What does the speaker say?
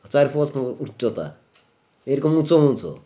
চারফুট উ উচ্চতা এরকম উঁচু বলছো